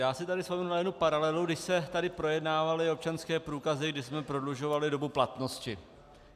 Já si tady vzpomenu na jednu paralelu, kdy se tady projednávaly občanské průkazy, když jsme prodlužovali dobu platnosti.